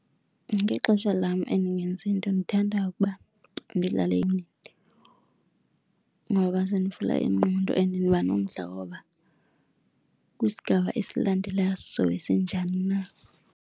Ngexesha lam endingenzi nto ndithanda ukuba ndidlale ngoba zindivula ingqondo and ndiba nomdla woba kwisigaba esilandelayo sizobe sinjani na.